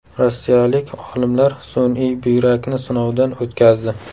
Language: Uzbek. Rossiyalik olimlar sun’iy buyrakni sinovdan o‘tkazdi.